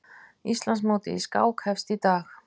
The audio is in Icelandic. Íslandsmótið í skák hefst í dag